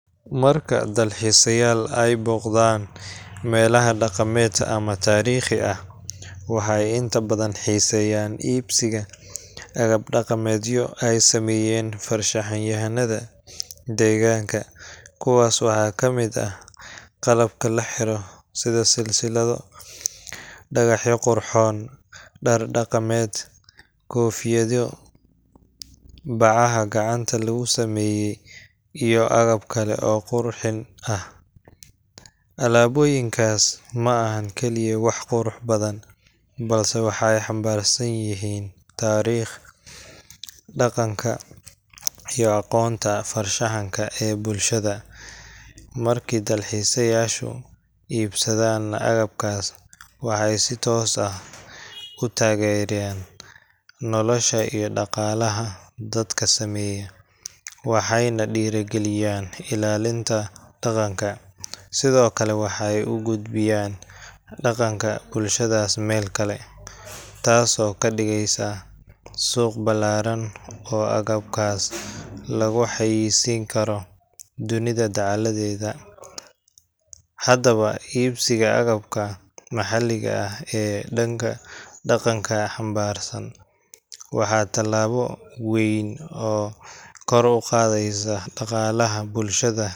Marka dalxiisayaal ay booqdaan meelaha dhaqameed ama taariikhi ah, waxay inta badan xiiseeyaan iibsiga agab dhaqameedyo ay sameeyaan farshaxan-yahanada deegaanka. Kuwaas waxaa ka mid ah: qalabka la xiro sida silsilado, dhagaxyo qurxoon, dhar dhaqameed, koofiyado, bacaha gacanta lagu sameeyo, iyo agab kale oo qurxin ah. Alaabooyinkaas ma aha kaliya wax qurux badan, balse waxay xambaarsan yihiin taariikh, dhaqanka, iyo aqoonta farshaxanka ee bulshada. Markii dalxiisayaashu iibsadaan agabkaas, waxay si toos ah u taageeraan nolosha iyo dhaqaalaha dadka sameeya, waxayna dhiirrigeliyaan ilaalinta dhaqanka. Sidoo kale, waxay u gudbiyaan dhaqanka bulshadaas meel kale, taasoo ka dhigaysa suuq ballaaran oo agabkaas lagu xayeysiin karo dunida dacaladeeda. Haddaba, iibsiga agabka maxalliga ah ee dhaqanka xambaarsan waa tallaabo weyn oo kor u qaadaysa dhaqaalaha bulshada